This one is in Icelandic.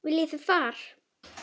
Viljið þið far?